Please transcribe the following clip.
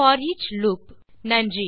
தமிழாக்கம் கடலூர் திவா நன்றி